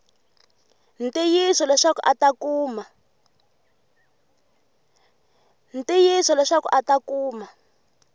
ntiyiso leswaku a ta kuma